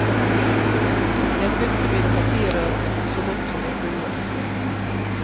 Jeg fylte mine papirer ut så godt som jeg kunne.